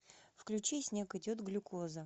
включи снег идет глюкоза